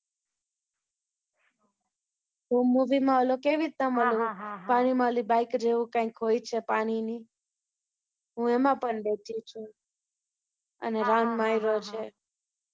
ધૂમ movie માં ઓલો કેવી રીતે આમ ઓલુ, પાણીમાં ઓલી બાઈક જેવું કાઈંક હોય છે પાણીની. હું એમાં પણ બેઠી છું. અને round માર્યો છે